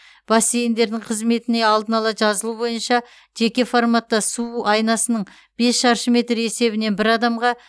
бассейндердің қызметіне алдын ала жазылу бойынша жеке форматта су айнасының бес шаршы метр есебінен бір адамға